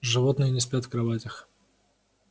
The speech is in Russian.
животные не спят в кроватях